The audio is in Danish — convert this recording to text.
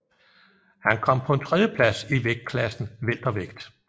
Han kom på en tredjeplads i vægtklassen weltervægt